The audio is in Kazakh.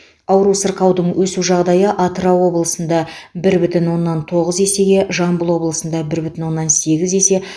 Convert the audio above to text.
ауру сырқаудың өсу жағдайы атырау облысында бір бүтін оннан тоғыз есеге жамбыл облысында бір бүтін оннан сегіз есе